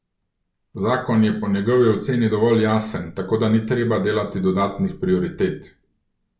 Zakon je po njegovi oceni dovolj jasen, tako da ni treba delati dodatnih prioritet.